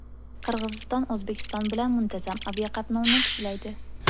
Qirg‘iziston O‘zbekiston bilan muntazam aviaqatnovni tiklaydi.